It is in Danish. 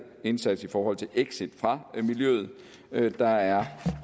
indsats i forhold til exit fra miljøet der er